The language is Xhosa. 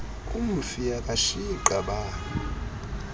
umfi akashiyi qabane